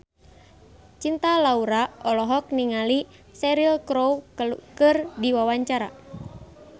Cinta Laura olohok ningali Cheryl Crow keur diwawancara